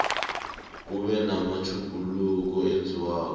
kube namatjhuguluko enzekako